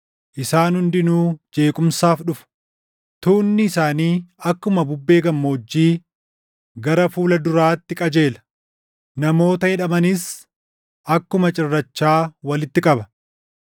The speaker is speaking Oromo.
isaan hundinuu jeequmsaaf dhufu. Tuunni isaanii akkuma bubbee gammoojjii gara fuula duraatti qajeela; namoota hidhamanis akkuma cirrachaa walitti qaba.